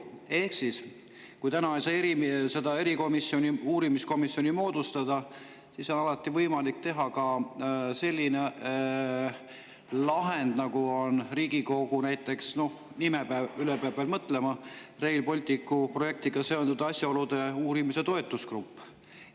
Ehk kui täna ei saa seda uurimiskomisjoni moodustada, siis on alati võimalik ka selline lahend, nagu on Riigikogu – noh, nime üle peab veel mõtlema – Rail Balticu projektiga seotud asjaolude uurimise toetusgrupp.